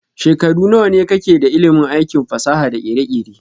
Shekaru nawane ka ke da ilimin aikin fasaha da kere-kere?